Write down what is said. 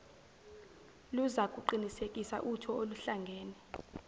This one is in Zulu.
luzakuqinisekisa utho oluhlangene